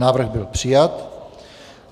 Návrh byl přijat.